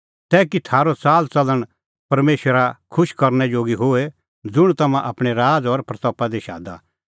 कि थारअ च़ालच़लण परमेशरा खुश करनै जोगी होए ज़ुंण तम्हां आपणैं राज़ और महिमां दी शादा